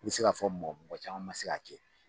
I bɛ se ka fɔ mɔgɔ mɔgɔ caman ma se k'a kɛ